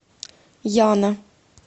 яна